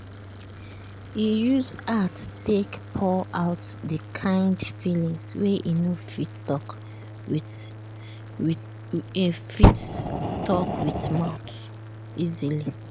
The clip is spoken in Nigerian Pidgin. e use art take pour out the kind feelings wey e no fit talk with fit talk with mouth easily.